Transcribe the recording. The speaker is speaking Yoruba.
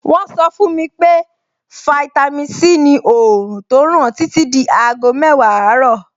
Wọ́n sọ fún mi pé fáítámì Sí ni òòrùn tó ràn títí di aago mẹ́wàá àárọ̀.